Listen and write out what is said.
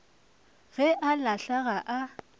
ge a hlala ga a